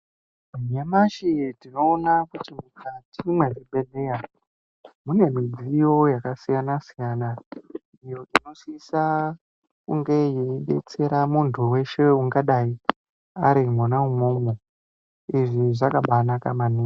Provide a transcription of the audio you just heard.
Nyamashi tinoona kuti mukati mezvibhedhlera mune midziyo yakasiyana siyana iyo inosisa yeidetsera muntu weshe ungadai arimwona imwomwo izvi zvakabanaka maningi.